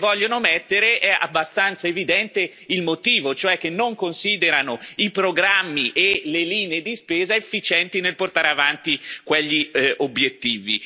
Se non le vogliono mettere, è abbastanza evidente il motivo, e cioè che non considerano i programmi e le linee di spesa efficienti nel portare avanti quegli obiettivi.